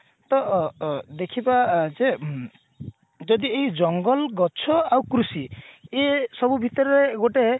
ତ ଅ ଦେଖିବା ଯେ ଯଦି ଏଇ ଜଙ୍ଗଲ ଗଛ ଆଉ କୃଷି ଇଏ ସବୁ ଭିତରେ ଗୋଟେ